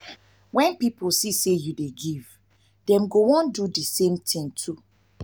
wen pipo see say yu dey give dem go wan do the wan do the same too.